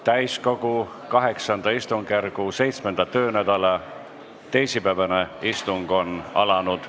Täiskogu VIII istungjärgu 7. töönädala teisipäevane istung on alanud.